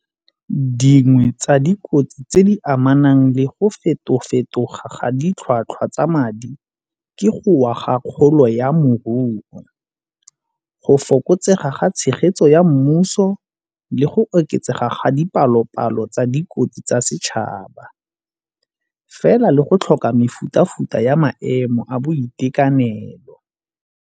Dingwe tsa dikotsi tse di amanang le go feto-fetoga ga ditlhwatlhwa tsa madi ke go wa ga kgolo ya moruo, go fokotsega ga tshegetso ya mmuso le go oketsega ga dipalo-palo tsa dikotsi tsa setšhaba, fela le go tlhoka mefuta-futa ya maemo a boitekanelo.